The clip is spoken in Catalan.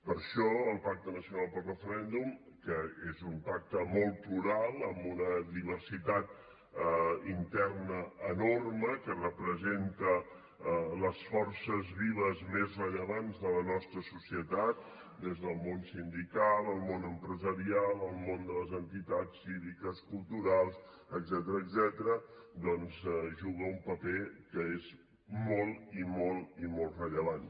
per això el pacte nacional pel referèndum que és un pacte molt plural amb una diversitat interna enorme que representa les forces vives més rellevants de la nostra societat el món sindical el món empresarial el món de les entitats cíviques culturals etcètera doncs juga un paper que és molt i molt rellevant